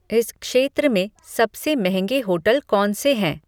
इस क्षेत्र में सबसे मंहगे होटल कौन से हैं